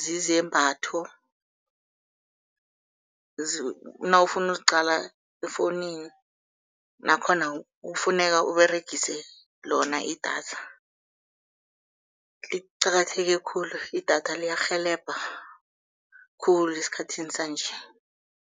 zizembatho nawufuna ukuziqala efowunini nakhona kufuneka Uberegise lona idatha. Liqakatheke khulu, idatha liyarhelebha khulu esikhathini sanje.